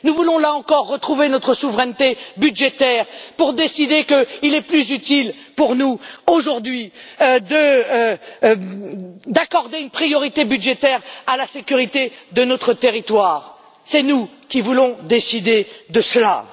Nous voulons, là encore, retrouver notre souveraineté budgétaire pour décider qu'il est plus utile pour nous, aujourd'hui, d'accorder une priorité budgétaire à la sécurité de notre territoire. C'est nous qui voulons décider de cela!